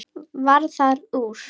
Varð það úr.